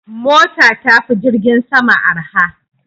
Mota tafi jirgin sama arha.